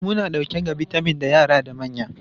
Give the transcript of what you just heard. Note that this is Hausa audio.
Lemu na dauke da bitamin ga yara da manya.